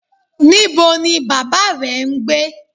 Nibo ni baba rẹ n gbe?